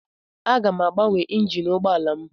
Aga m agbanwe injin ụgbọala m.